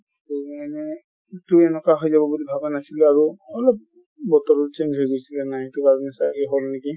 হৈ যাব বুলি ভাবা নাছিলো আৰু অলপ বতৰো change হৈ গৈছিলে না সিটো কাৰনে ছাগে হ'ল নেকি |